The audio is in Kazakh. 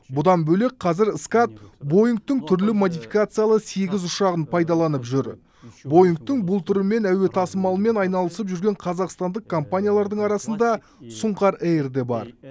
бұдан бөлек қазір скат боингтың түрлі модификациялы сегіз ұшағын пайдаланып жүр боингтың бұл түрімен әуе тасымалымен айналасып жүрген қазақстандық компаниялардың арасында сұңқар эйр де бар